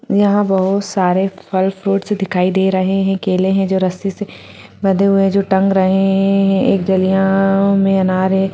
यह बहुत सारे फल फ्रूट्स दिखाई दे रहे है केले है जो रस्सी से बंधे हुए है जो टंग रहे है एक डलीय आम हैं अनार है।